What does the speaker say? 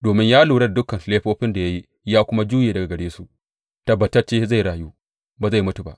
Domin ya lura da dukan laifofin da ya yi ya kuma juye daga gare su, tabbatacce zai rayu; ba zai mutu ba.